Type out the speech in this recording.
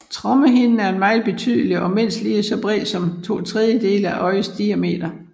Trommehinden er meget tydelig og er mindst lige så bred som to tredjedele af øjets diameter